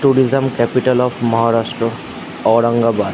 Tourism capital of Maharashtra Aurangabad.